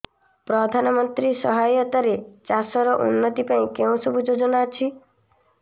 ପ୍ରଧାନମନ୍ତ୍ରୀ ସହାୟତା ରେ ଚାଷ ର ଉନ୍ନତି ପାଇଁ କେଉଁ ସବୁ ଯୋଜନା ଅଛି